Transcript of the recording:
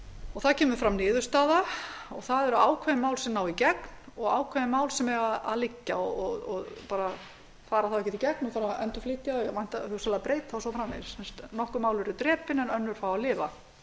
og það kemur fram niðurstaða það eru ákveðin mál sem ná í gegn og ákveðin mál sem eiga að liggja og fara þá ekkert í gegn og þarf að endurflytja þau og hugsanlega breyta og svo framvegis nokkur mál eru drepin en önnur fá að lifa